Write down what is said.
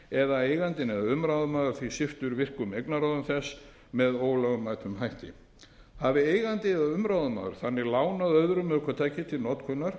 eða að eigandi eða umráðamaður sviptur virkum eignarráðum þess með ólögmætum hætti hafi eigandi eða umráðamaður þannig lánað öðrum ökutækið til notkunar